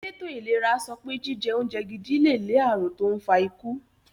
Èlétò ìlera sopé jíje oúnje gidi lè lé ààrùn tó n fa ikú.